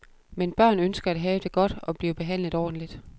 Men børn ønsker at have det godt, og blive behandlet ordentlig.